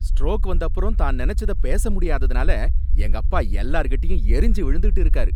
Stroke வந்தப்பறம் தான் நனைச்சதை பேச முடியாததனால எங்க அப்பா எல்லார்கிட்டயும் எரிஞ்சு விழுந்துட்டு இருக்காரு.